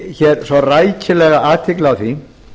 rakti svo rækilega athygli á því